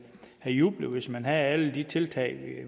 have jublet hvis man havde alle de tiltag